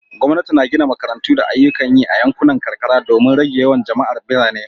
Gwamnati na gina makarantu da ayyukan yi a yankunan karkara domin rage yawan jama'ar birane